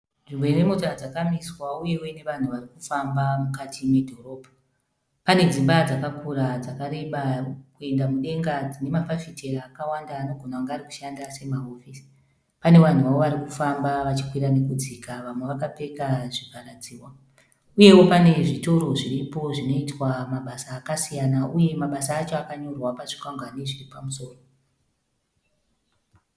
Nzvimbo ine mota dzakamiswa uyewo ine vanhu vari kufamba mukati medhorobha. Pane dzimba dzakakura dzakareba kuenda mudenga dzine mafafitera akawanda anogona kunge ari kushanda semahofisi. Pane vanhuwo vari kufamba vachikwira nekudzika, vamwe vakapfeka zvivharadzihwa. Uyewo pane zvitoro zviripo zvinoitwa mabasa akasiyana uyewo mabasa acho akanyorwa pazvikwangwani zviri pamusoro.